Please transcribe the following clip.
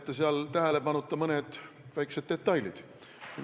Te jätsite tähelepanuta mõne väikese detaili.